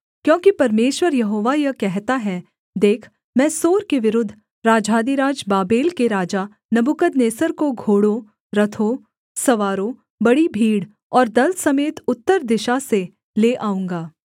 क्योंकि परमेश्वर यहोवा यह कहता है देख मैं सोर के विरुद्ध राजाधिराज बाबेल के राजा नबूकदनेस्सर को घोड़ों रथों सवारों बड़ी भीड़ और दल समेत उत्तर दिशा से ले आऊँगा